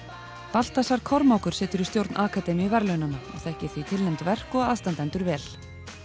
Baltasar Kormákur situr í stjórn akademíu verðlaunanna og þekkir því vel tilnefnd verk og aðstandendur vel